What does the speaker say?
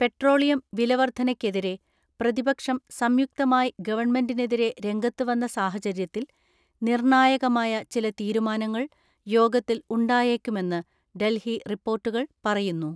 Petroleum വിലവർദ്ധന ക്കെതിരെ പ്രതിപക്ഷം സംയുക്തമായി ഗവൺമെന്റിനെതിരെ രംഗത്തുവന്ന സാഹചര്യത്തിൽ നിർണ്ണായകമായ ചില തീരുമാ നങ്ങൾ യോഗത്തിൽ ഉണ്ടായേക്കുമെന്ന് ഡൽഹി റിപ്പോർട്ടു കൾ പറയുന്നു.